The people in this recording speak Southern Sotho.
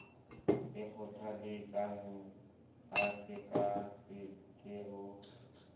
e kgothaletsang a sekaseke ho